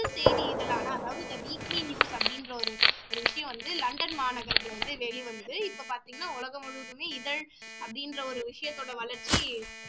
செய்தி இதழான அதாவது the weekly news அப்படின்ற ஒரு விஷயம் வந்து லண்டன் மாநகரத்துல வந்து வெளி வந்தது இப்போ பாத்திங்கன்னா உலகம் முழுவதுமே இதழ் அப்படின்ற ஒரு விஷயத்தோட வளர்ச்சி